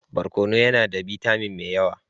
Barkono yana da bitamin mai yawa.